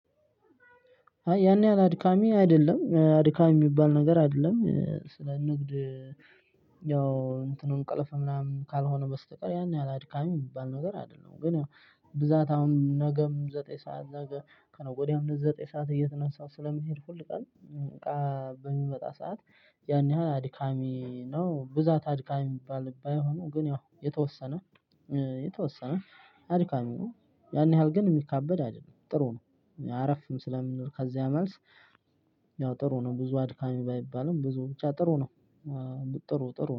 ያን ያህል አድካሚ አይደለም። አድካሚ የሚባል ነገር አይደለም። ስለንግድ ያው እንትኑ እንቅልፍ ምናምን ካልሆነ በስተቀር ያን ያህል አድካሚ የሚባል ነገር አይደለም። ግን ያው ብዛት አሁን ነገም ዘጠኝ ሰዓት ነገ ከነገ ወዲያም ዘጠኝ ሰዓት እየተነሳሁ ስለምሄድ ሁልቀን እቃ በሚመጣ ሰዓት ያን ያህል አድካሚ ነው ብዛት አድካሚ የሚባል ባይሆንም ግን ያው የተወሰነ የተወሰነ አድካሚ ነው ያን ያህል ግን የሚካበድ አይደለም። ጥሩ ነው። አረፍም ስለምል ከዚያ መልስ ያው ጥሩ ነው። ብዙ አድካሚ ባይባልም ብዙ ብቻ ጥሩ ነው። ጥሩ ጥሩ።